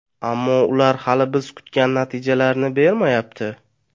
Ammo ular hali biz kutgan natijalarni bermayapti.